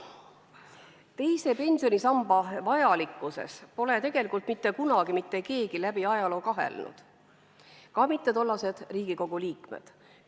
Teise pensionisamba vajalikkuses pole tegelikult mitte kunagi mitte keegi kahelnud, ka mitte tollased Riigikogu liikmed.